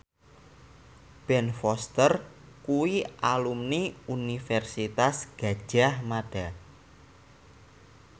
Ben Foster kuwi alumni Universitas Gadjah Mada